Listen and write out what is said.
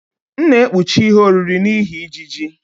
M na-ekpuchi ihe oriri n'ihi ijiji.